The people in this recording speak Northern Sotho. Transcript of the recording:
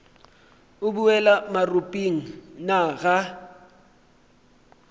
o boela maropeng na ga